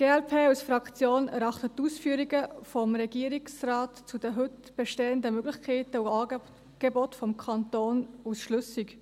Die Fraktion glp erachtet die Ausführungen des Regierungsrates zu den heute bestehenden Möglichkeiten und Angeboten des Kantons als schlüssig.